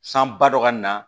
San ba dɔ ka na